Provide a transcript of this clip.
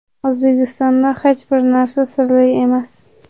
O‘zbekistonda hech bir narsa sirli emas.